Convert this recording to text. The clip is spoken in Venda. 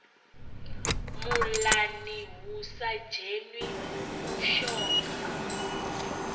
muḽani hu sa dzheni mushonga